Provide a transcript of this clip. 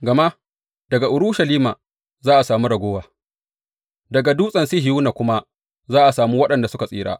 Gama daga Urushalima za a sami ragowa, daga Dutsen Sihiyona kuma za a sami waɗanda suka tsira.